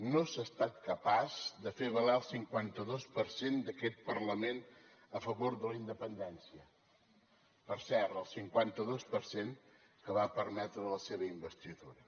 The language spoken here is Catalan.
no s’ha estat capaç de fer valer el cinquanta dos per cent d’aquest parlament a favor de la independència per cert el cinquanta dos per cent que va permetre la seva investidura